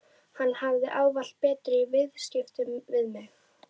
Hann hafði ávallt betur í viðskiptum við mig.